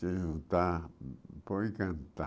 Se juntar, pode encantar.